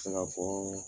Se ka fɔ